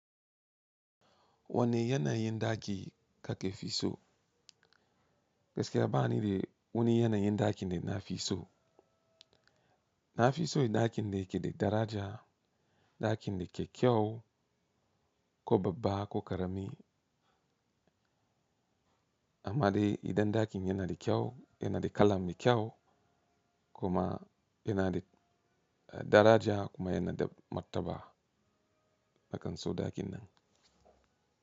Wanne yanayin ɗaki ka ke fi so? Gaskiya ba ni da wani yanayin ɗaki da na fi so. Na fi so ɗakin da yake da daraja, ɗakin da ke kyau, ko babba ko karami. Amma dai idan ɗakin yana da kyau, yana da kala mai kyau kuma yana da daraja kuma yana da mataba, nakan so ɗakin nan.